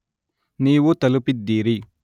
ನೀವು ತಲುಪಿದ್ದೀರಿ.